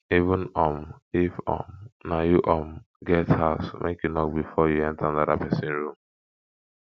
even um if um na you um get house make you knock before you enta anoda pesin room